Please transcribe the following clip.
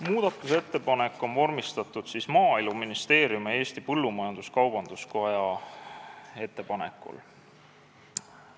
Muudatusettepanek on vormistatud Maaeluministeeriumi ja Eesti Põllumajandus-Kaubanduskoja ettepanekul.